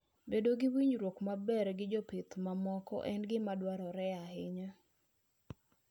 Bedo gi winjruok maber gi jopith mamoko en gima dwarore ahinya.